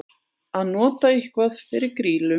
Að nota eitthvað fyrir grýlu